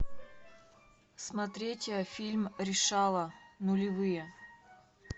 смотреть фильм решала нулевые